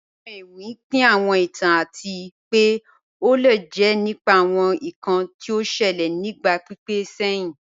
Awọn èwì pín àwọn ìtàn àti pẹ́ o lè jẹ́ nípà àwọn ìkàn tí ó ṣèlẹ̀ ni ìgba pípẹ̀ sẹ̀hin